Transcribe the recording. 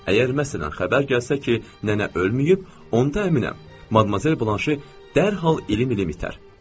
Əgər məsələn, xəbər gəlsə ki, nənə ölməyib, onda əminəm, Madmazel Blanşe dərhal ilim ilim itər.